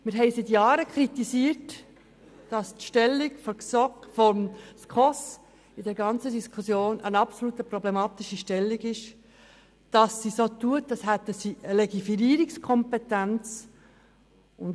Wir kritisieren seit Jahren, dass die Stellung der SKOS in der ganzen Diskussion absolut problematisch ist, da sie so tut, als ob sie eine Legiferierungskompetenz hätte.